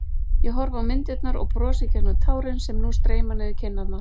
Ég horfi á myndirnar og brosi gegnum tárin sem nú streyma niður kinnarnar.